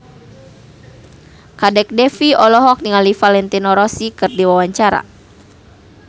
Kadek Devi olohok ningali Valentino Rossi keur diwawancara